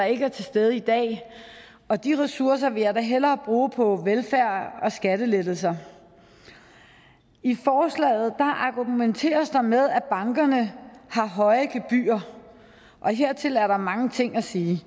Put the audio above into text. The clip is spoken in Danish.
ikke er til stede i dag og de ressourcer vil jeg da hellere bruge på velfærd og skattelettelser i forslaget argumenteres der med at bankerne har høje gebyrer hertil er der mange ting at sige